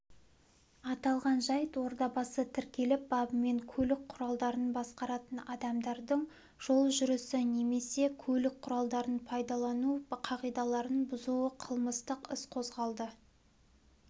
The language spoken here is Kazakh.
аталған жайт орбадасы тіркеліп бабымен көлік құралдарын басқаратын адамдардың жол жүрісі немесе көлік құралдарын пайдалану қағидаларын бұзуы қылмыстық іс қозғалды